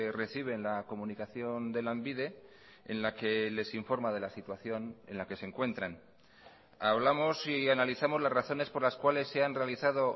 reciben la comunicación de lanbide en la que les informa de la situación en la que se encuentran hablamos y analizamos las razones por las cuales se han realizado